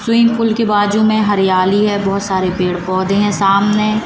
swimming pool के बाजू में हरियाली है बहुत सारे पेड़ पौधे हैं सामने--